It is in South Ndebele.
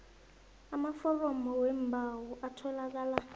amaforomo weembawo atholakala